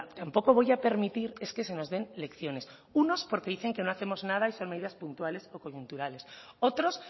tampoco voy a permitir es que se nos den lecciones unos porque dicen que no hacemos nada y son medidas puntuales o coyunturales otros